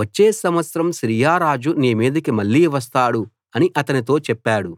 వచ్చే సంవత్సరం సిరియారాజు నీ మీదికి మళ్ళీ వస్తాడు అని అతనితో చెప్పాడు